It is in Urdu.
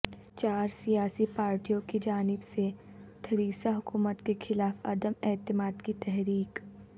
چار سیاسی پاریٹیوں کی جانب سے تھیریسا حکومت کے خلاف عدم اعتماد کی تحریک